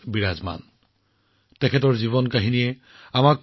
ভগৱান বীৰছা মুণ্ডা আমাৰ সকলোৰে অন্তৰত আছে